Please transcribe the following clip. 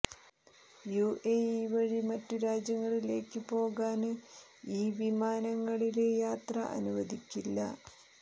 UAE വഴി മറ്റു രാജ്യങ്ങളിലേക്ക് പോകാന് ഈ വിമാനങ്ങളില് യാത്ര അനുവദിക്കില്ല